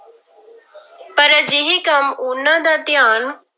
ਪਰ ਅਜਿਹੇ ਕੰਮ ਉਹਨਾਂ ਦਾ ਧਿਆਨ